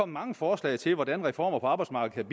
mange forslag til hvordan reformer på arbejdsmarkedet